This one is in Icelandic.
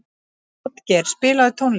Játgeir, spilaðu tónlist.